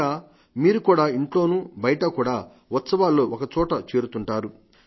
ఇంకా మీరు కూడా ఇంట్లోనూ బయటా కూడా ఉత్సవాల్లో ఒకచోట చేరుతుంటారు